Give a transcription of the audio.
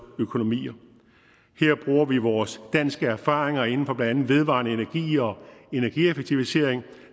økonomier her bruger vi vores danske erfaringer inden for blandt andet vedvarende energi og energieffektivisering